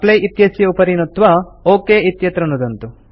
apply इत्यस्य उपरि नुत्वा ओक इत्यत्र नुदन्तु